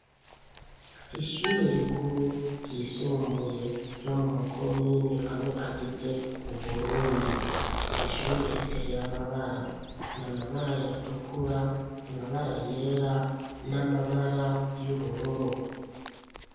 Ishure rikuru ryisumbuye ryo muma komine ane agize Uburundi , iri shure ritey'amabara, n'amabara yatukura, amabara yera n'amabara y'ubururu.